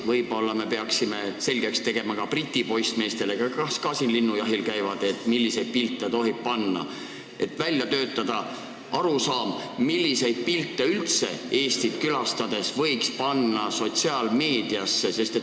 Võib-olla peaksime selgeks tegema ka Briti poissmeestele, kes ka siin linnujahil käivad, milliseid pilte tohib välja panna, et välja töötada arusaam, milliseid pilte üldse Eestit külastades võiks panna sotsiaalmeediasse.